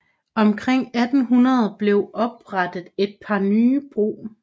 Omkring 1800 blev oprettet et par nye brug